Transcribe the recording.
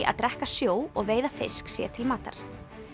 að drekka sjó og veiða fisk sér til matar